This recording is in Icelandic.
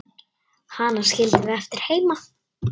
Hana skildum við eftir heima.